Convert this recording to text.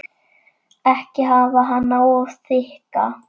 Ekki hafa hana of þykka.